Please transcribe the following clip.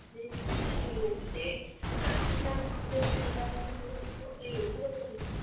join ಆಗಿದ್ದೆ ಅದ್ ನಾನ್ college ಹೋದಾಗ ನನಗಂತ್ರು ಏನೂ ಗೊತ್ತಿದ್ದಿಲ್ಲಾ.